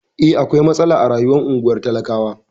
Eh, akwai matsala a rayuwar unguwar talakawa.